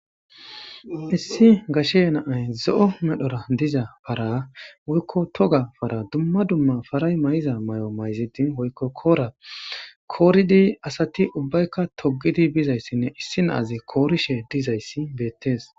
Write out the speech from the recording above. Issi gashe naay zo7o medhora diza para woykko toga para dumma dumma faray may7iza may7o mayzidin hoykko koora kooridi asati ubbaykka togidi bizayssinne issi naazi koorishe dizayssi beettees